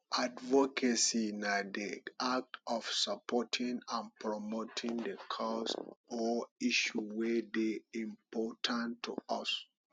advocacy na di act of supporting and promoting di cause or issue wey dey important to us